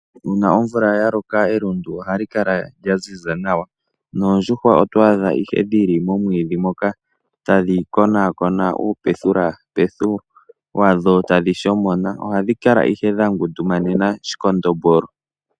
Uuna omvula yaloka, elundu ohali kala lyaziza nawa, noondjuhwa oto adha ihe dhili momwiidhi moka, tadhi konaakona uupethulepethu wadho, tadhi shomona. Ohadhi kala ihe dha ngundumanena shikondombolo.